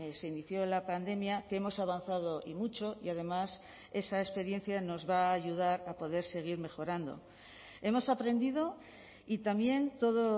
se inició la pandemia que hemos avanzado y mucho y además esa experiencia nos va a ayudar a poder seguir mejorando hemos aprendido y también todo